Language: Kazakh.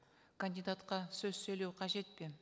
кандидатқа сөз сөйлеу қажет пе